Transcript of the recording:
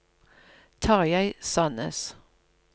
Tarjei Sannes